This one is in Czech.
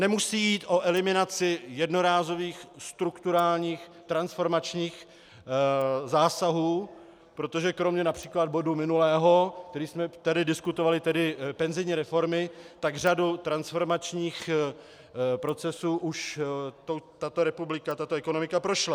Nemusí jít o eliminaci jednorázových strukturálních transformačních zásahů, protože kromě například bodu minulého, který jsme tady diskutovali, tedy penzijní reformy, tak řadou transformačních procesů už tato republika, tato ekonomika prošla.